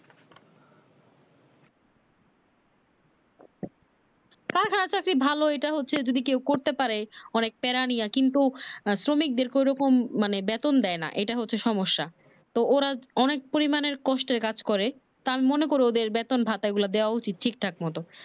চাকরি ঐটা ভালো হচ্ছে যদি কেউ করতে পারে অনেক প্রাণীরা কিন্তু শ্রমিক দেরকে ওরকম মানে দে না বেতন ইটা হচ্ছে সমস্যা তো ওরা অনেক পরিমানের কষ্টের কাজ করে তার মনে করে ওদের বেতন ভাটাগুলো দেওয়া উচিত ঠিকঠাক মতো